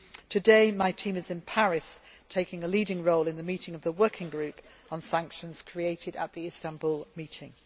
Today, my team is in Paris taking a leading role in the meeting of the working group on sanctions created at the Istanbul meeting.